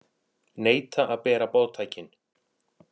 Neita að bera boðtækin